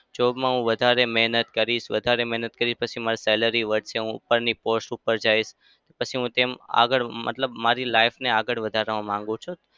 job માં હું વધારે મહેનત કરીશ. વધારે મહેનત કરીશ પછી મારે salary વધશે. હું ઉપરની post ઉપર જઈશ. પછી હું તેમ આગળ મતલબ મારી life ને આગળ વધારવા માંગુ છું.